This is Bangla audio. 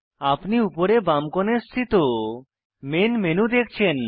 আপনি উপরে বাম কোণায় স্থিত মেন মেনু দেখছেন